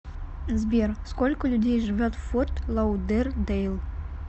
сбер сколько людей живет в форт лаудердейл